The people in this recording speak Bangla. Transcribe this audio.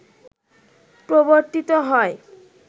প্রবর্তিত হয়